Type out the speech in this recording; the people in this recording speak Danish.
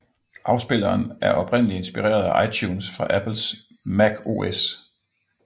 Afspilleren er oprindeligt inspireret af iTunes fra Apples Mac OS